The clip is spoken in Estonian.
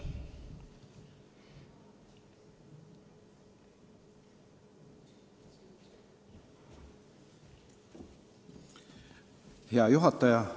Hea juhataja!